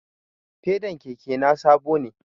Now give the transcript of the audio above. Fedan keke na sabo ne